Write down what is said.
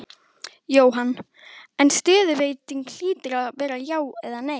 Jóhann: En stöðuveiting hlýtur að vera já eða nei?